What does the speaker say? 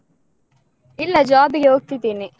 ಇಲ್ಲ job ಗೆ ಹೋಗ್ತಿದ್ದೇನೆ.